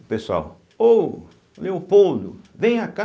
O pessoal... Ô, Leopoldo, venha cá.